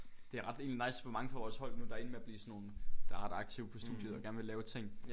Det er ret egentlig nice hvor mange fra vores hold nu der er endt med at blive sådan nogle der er ret aktive på studiet og gerne vil lave ting